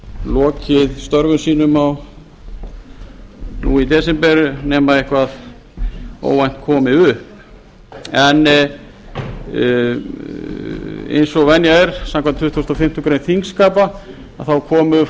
lokið störfum sínum nú í desember nema eitthvað óvænt komi upp eins og venja er samkvæmt tuttugustu og fimmtu greinar þingskapa komu